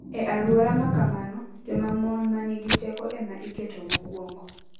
E alwora ma kamano, joma mon ma nigi teko ema iketo mokwongo.